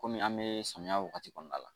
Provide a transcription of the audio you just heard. Kɔmi an bɛ samiya wagati kɔnɔna la